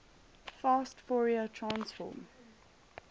fast fourier transform